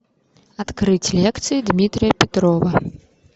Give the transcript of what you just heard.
открыть лекции дмитрия петрова